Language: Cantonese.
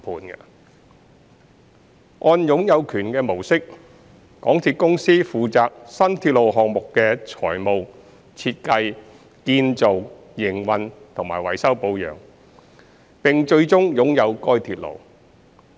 在"擁有權"模式下，港鐵公司負責新鐵路項目的財務、設計、建造、營運和維修保養，並最終擁有該鐵路。